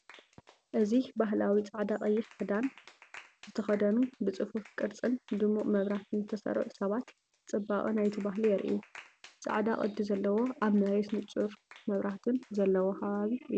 እዚ ባህላዊ ጻዕዳን ቀይሕን ክዳን ዝተኸድኑ፡ ብጽፉፍ ቅርጽን ድሙቕ መብራህትን ዝተሰርዑ ሰባት፡ ጽባቐ ናይቲ ባህሊ የርእዩ። ጻዕዳ ቅዲ ዘለዎን ኣብ መሬት ንጹር መብራህትን ዘለዎ ከባቢ እዩ።